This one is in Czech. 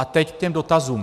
A teď k těm dotazům.